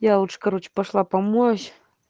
я лучше короче пошла помоюсь